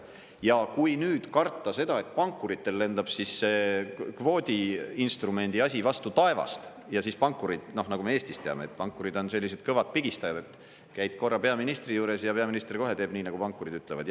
Ja kui nüüd karta seda, et pankuritel lendab siis see kvoodiinstrumendi asi vastu taevast, ja siis pankurid, nagu me Eestis teame, et pankurid on sellised kõvad pigistajad, et käid korra peaministri juures ja peaminister kohe teeb, nagu pankurid ütlevad.